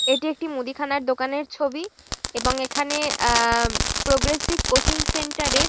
এটি একটি মুদিখানার দোকানের ছবি এবং এখানে আ আ প্রগ্রেসিভ কোচিং সেন্টার এর।